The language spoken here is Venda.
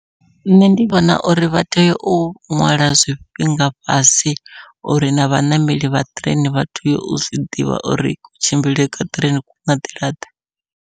Nṋe ndi vhona uri vha tea u ṅwala zwifhinga fhasi uri na vhaṋameli vha ṱireini vha tea u zwiḓivha uri ku tshimbilele kwa ṱireini ku nga nḓila ḓe.